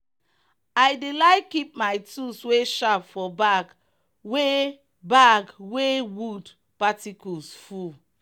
i dey like keep my tools wey sharp for bag wey bag wey wood particles full.